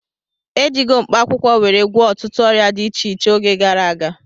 E jigo mkpaakwụkwọ were gwọọ ọtụtụ ọrịa dị iche iche oge gara aga